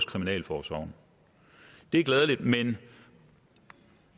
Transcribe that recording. kriminalforsorgen det er glædeligt men